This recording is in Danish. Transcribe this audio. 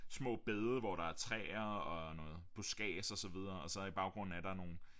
Små bede hvor der er træer og noget buskads og så videre og så i baggrunden er der nogle